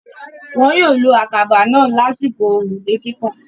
Wọn yóò lo àkàbà náà lásìkò òrùlé kíkàn.